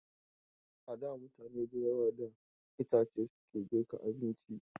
A da mutane da yawa da itace suke girkin abinci.